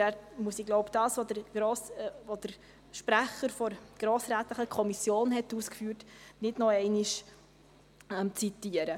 Dabei muss ich wohl das, was der Kommissionssprecher ausgeführt hat, nicht noch einmal zitieren.